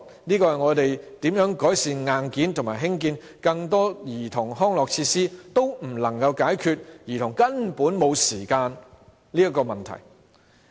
不論我們如何改善硬件，以及興建更多兒童康樂設施，仍無法解決兒童根本沒有時間玩耍的問題。